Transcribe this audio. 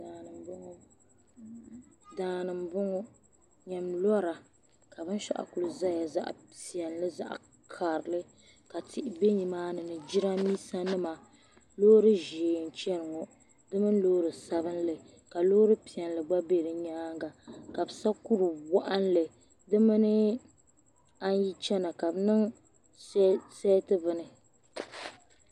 Daani m bo ŋɔ nyami lora ka binshɛɣu kuli zaya zaɣpiɛlli zaɣ karili ka tihi be nimaa ni ni jiraanmiinsanima loori ʒee n chani ŋɔ di mini loori sabinli ka loori piɛlli gba be bi nyaaŋa ka bi sa kuri woɣinli di mini a yi chana ka bi niŋ.